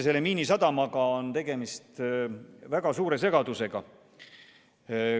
Selle Miinisadama osas on üldse väga suur segadus.